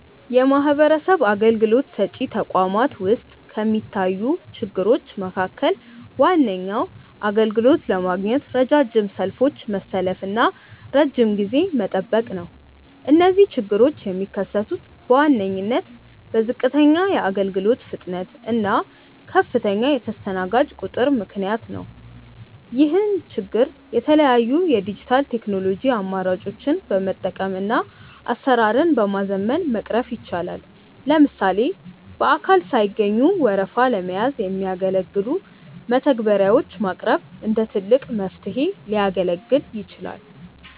የማህበረሰብ አገልግሎት ሰጪ ተቋማት ውስጥ ከሚታዩ ችግሮች መካከል ዋነኛው አገልግሎት ለማግኘት ረጃጅም ሰልፎችን መሰለፍና ረጅም ጊዜ መጠበቅ ነው። እነዚህ ችግሮች የሚከሰቱት በዋነኝነት በዝቅተኛ የአገልግሎት ፍጥነት እና ከፍተኛ የተስተናጋጅ ቁጥር ምክንያት ነው። ይህን ችግር የተለያዩ የዲጂታል ቴክኖሎጂ አማራጮችን በመጠቀምና አሰራርን በማዘመን መቅረፍ ይቻላል። ለምሳሌ በአካል ሳይገኙ ወረፋ ለመያዝ የሚያገለግሉ መተግበሪያዎች ማቅረብ እንደ ትልቅ መፍትሄ ሊያገለግል ይችላል።